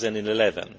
2011.